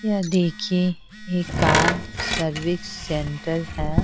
यह देखिए एक कार सर्विस सेंटर है।